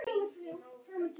Þar lauk sögnum, heldur óvænt.